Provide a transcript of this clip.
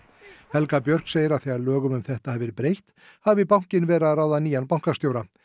helga Björk segir að þegar lögum um þetta hafi verið breytt hafi bankinn verið að ráða nýjan bankastjóra